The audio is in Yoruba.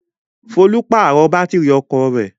Folú pàrọ̀ bátírí ọkọ rẹ̀.